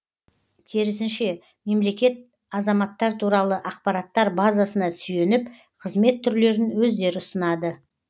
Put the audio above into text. керісінше мемлекет азаматтар туралы ақпараттар базасына сүйеніп қызмет түрлерін өздері ұсынады